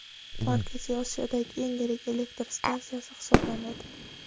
Markaziy Osiyodagi eng yirik elektr stansiyasi hisoblanadi.